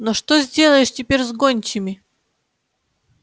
но что сделаешь теперь с гончими